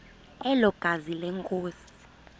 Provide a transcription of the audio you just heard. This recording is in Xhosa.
elo gazi lenkosi